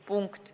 Punkt.